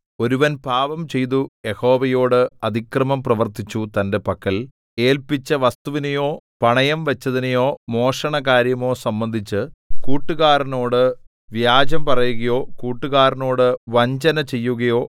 ഒരുവൻ പാപംചെയ്തു യഹോവയോട് അതിക്രമം പ്രവർത്തിച്ചു തന്റെ പക്കൽ ഏല്പിച്ച വസ്തുവിനെയോ പണയം വച്ചതിനെയോ മോഷണകാര്യമോ സംബന്ധിച്ച് കൂട്ടുകാരനോട് വ്യാജം പറയുകയോ കൂട്ടുകാരനോട് വഞ്ചന ചെയ്യുകയോ